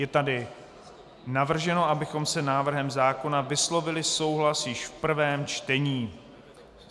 Je tady navrženo, abychom s návrhem zákona vyslovili souhlas již v prvém čtení.